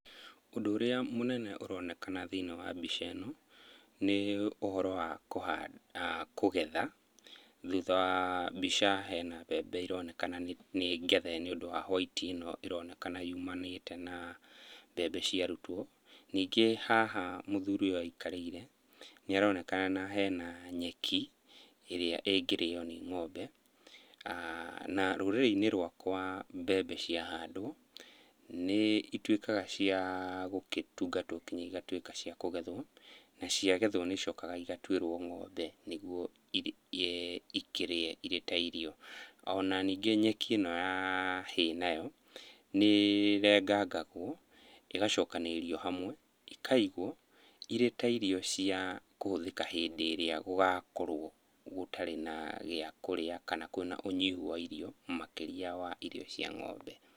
Ũndũ ũrĩa mũnene ũronekana thĩiniĩ wa mbica ĩno, nĩ ũhoro wa kũhanda, kũgetha, thutha wa mbica hena mbembe ironeka nĩngethe nĩũndũ wa whaiti ĩno ĩronekana yumanĩte na mbembe ciaarutwo. Ningĩ haha mũthuri ũyũ aikarĩire nĩharonekana hena nyeki ĩrĩa ĩngĩrĩo nĩ ng'ombe. Na rũrĩrĩ-inĩ rwakwa mbembe cia handwo nĩituĩkaga cia gũkĩtungatwo nginya igatuĩka cia kũgethwo na ciagethwo nĩicokaga igatuĩrwo ng'ombe nĩguo ikĩrĩe irĩ ta irio. Ona ningĩ nyeki ĩno ya hay nayo, nĩĩrengangagwo, ĩgacokanĩrĩrio hamwe ĩkaigwo irĩ ta irio cia kũhũthĩka hĩndĩ ĩrĩa gũgakorwo gũtarĩ na gĩa kũrĩa, kana kwĩna ũnyihu wa irio makĩria wa irio cia ng'ombe.